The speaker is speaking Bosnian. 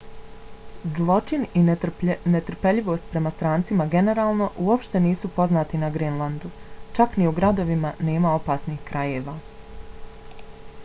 zločin i netrpeljivost prema strancima generalno uopšte nisu poznati na grenlandu. čak ni u gradovima nema opasnih krajeva